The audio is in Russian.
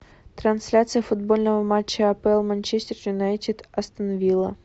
трансляция футбольного матча апл манчестер юнайтед астон вилла